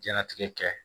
Jɛnatigɛ kɛ